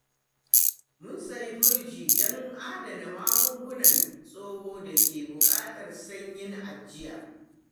Mun sayi firji don adana magungunan tsohon da ke buƙatar sanyin ajiya.